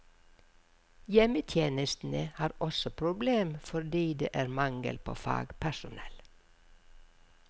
Hjemmetjenestene har også problemer fordi det er mangel på fagpersonell.